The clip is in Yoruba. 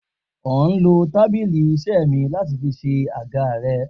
O n lo tabili ise mi lati fi se aga re